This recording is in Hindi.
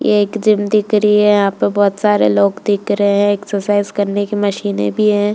यह एक जिम देख रही है। यहाँ बहुत सारे लोग दिख रहे हैं एक्सरसाइज करने की मशीने भी हैं।